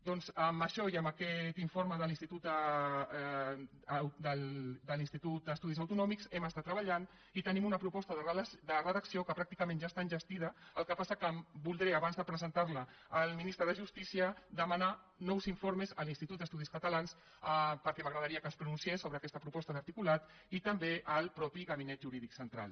doncs amb això i amb aquest informe de l’institut d’estudis autonòmics hem estat treballant i tenim una proposta de redacció que pràcticament ja està enllestida el que passa és que voldré abans de presentar la al ministre de justícia demanar nous informes a l’institut d’estudis catalans perquè m’agradaria que es pronunciés sobre aquesta proposta d’articulat i també al mateix gabinet jurídic central